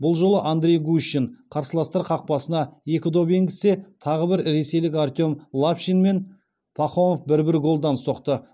бұл жолы андрей гущин қарсыластар қақпасына екі доп енгізсе тағы бір ресейлік артем лапшин мен пахомов бір бір голдан соқты